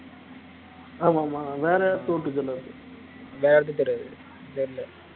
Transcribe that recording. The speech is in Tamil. ஆமா ஆமா வேற வேற யாருக்கும் தெரியாது தெரியல